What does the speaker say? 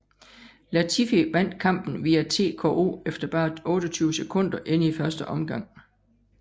Latifi vandt kampen via TKO efter bare 28 sekunder inde i første omgang